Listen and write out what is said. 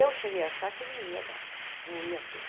Eu cheguei a achar que não ia dar, não ia ter.